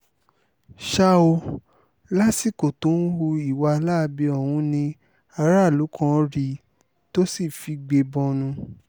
ṣá o lásìkò tó ń hu ìwà láabi ọ̀hún ni aráàlú kan rí i tó sì figbe bọnu